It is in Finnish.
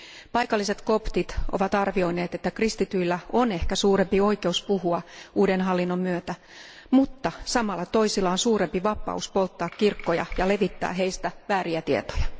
Paikalliset koptit ovat arvioineet, että kristityillä on ehkä suurempi oikeus puhua uuden hallinnon myötä, mutta samalla toisilla on suurempi vapaus polttaa kirkkoja ja levittää heistä vääriä tietoja.